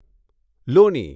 લોની